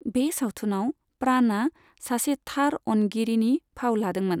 बे सावथुनआव, प्राणआ सासे थार अनगिरिनि फाव लादोंमोन।